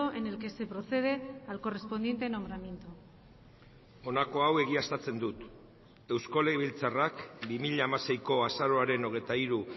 en el que se procede al correspondiente nombramiento honako hau egiaztatzen dut eusko legebiltzarrak bi mila hamaseiko azaroaren hogeita hiru